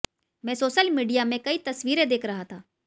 मैं social media में कई तस्वीरें देख रहा था